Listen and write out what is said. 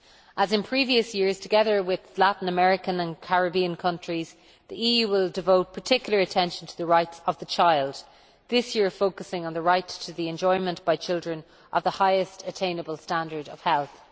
As in previous years, together with Latin American and Caribbean countries, the EU will devote particular attention to the rights of the child, this year focusing on the right to the enjoyment by children of the highest attainable standard of health.